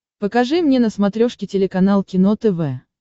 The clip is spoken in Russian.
покажи мне на смотрешке телеканал кино тв